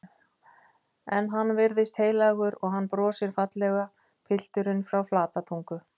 En hann virðist heiðarlegur og hann brosir fallega, pilturinn frá Flatatungu.